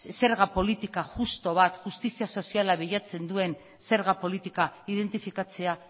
zerga politika justu bat justizia soziala bilatzen duen zerga politika identifikatzea